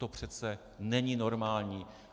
To přece není normální.